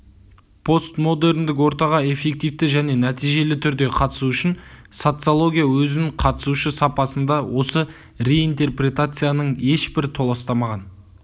постмодерндік ортаға эффективті және нәтижелі түрде қатысу үшін социология өзін қатысушы сапасында осы реинтерпретацияың ешбір толастамаған